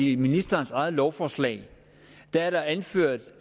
i ministerens eget lovforslag er anført